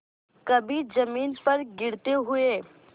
कभी जमीन पर गिरते हुए